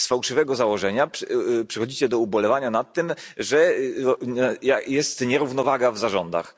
Z fałszywego założenia przechodzicie do ubolewania nad tym, że jest nierównowaga w zarządach.